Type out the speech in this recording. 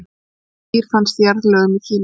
þetta dýr fannst í jarðlögum í kína